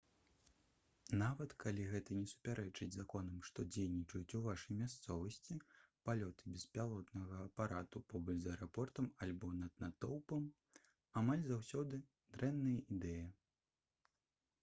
нават калі гэта не супярэчыць законам што дзейнічаюць у вашай мясцовасці палёты беспілотнага апарату побач з аэрапортам альбо над натоўпам амаль заўсёды дрэнная ідэя